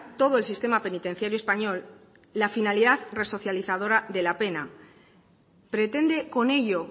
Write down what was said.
todo el sistema penitenciario español la finalidad resocializadora de la pena pretende con ello